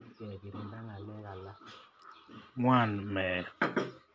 Ng'wan meet